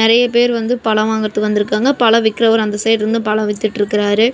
நெறைய பேர் வந்து பழோ வாங்குறதுக்கு வந்துருக்காங்க பழோ விக்கிறவர் அந்த சைடு இருந்து பழோ வித்துட்டிருக்கறாரு.